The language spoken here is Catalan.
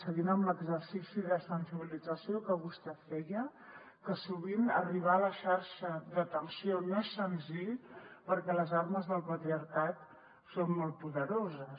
seguint amb l’exercici de sensibilització que vostè feia que sovint arribar a la xarxa d’atenció no és senzill perquè les armes del patriarcat són molt poderoses